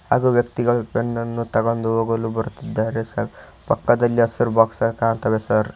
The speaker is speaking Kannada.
ಹಾಗೂ ವ್ಯಕ್ತಿಗಳು ಪೆನ್ ಅನ್ನು ತಗೊಂದು ಹೋಗಲು ಬರುತ್ತಿದ್ದಾರೆ ಸರ್ ಪಕ್ಕದಲ್ಲಿ ಹಸಿರು ಬಾಕ್ಸ್ ಸಹ ಕಾಣ್ತಾವೆ ಸರ್ .